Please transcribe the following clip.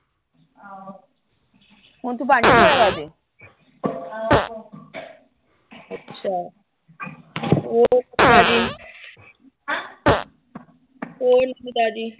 ਹੁਣ ਤੂੰ ਭਾਂਡੇ ਧੋਇਆ ਕਰਦੀ ਅੱਛਾ। ਹੋਰ ਕੋਈ ਨਵੀਂ ਤਾਜ਼ੀ। ਹੈਂ। ਹੋਰ ਕੋਈ ਨਵੀਂ ਤਾਜ਼ੀ।